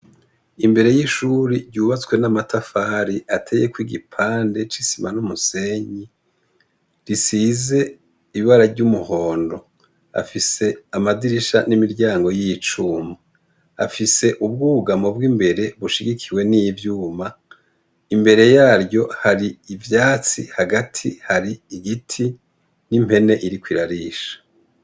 Imbere y'ishuri ryubatswe n'amatafari ateyeko igipande c'isima n'umusenyi risize ibara ry'umuhondo afise amadirisha n'imiryango y'icuma afise ubwougamo bwo imbere bushigikiwe n'ivyuma imbere yaryo hari ivyo atsi hagati hari igiti n'impene iriko irarisha.